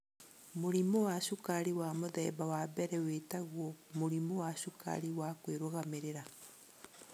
Mũrimũ wa cukari wa Mũthemba wa 1 wĩtagwo mũrimũ wa cukari wa kwĩrugamĩrĩra.